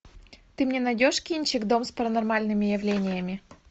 ты мне найдешь кинчик дом с паранормальными явлениями